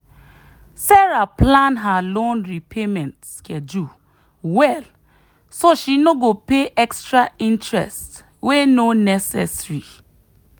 sarah plan her loan repayment schedule well so she no go pay extra interest wey no necessary.